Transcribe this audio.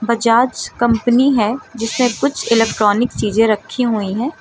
Bajaj company है जिसमे कुछ इलेक्ट्रॉनिक चीजें रखी हुई है।